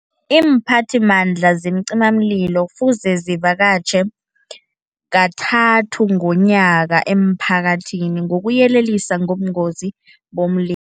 Iimphathimandla zeemcimamlilo kufuze zivakatjhe, kathathu ngomnyaka emphakathini, ngokuyelelisa ngobungozi bomlilo.